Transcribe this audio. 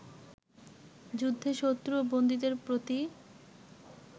যুদ্ধে শত্রু ও বন্দীদের প্রতি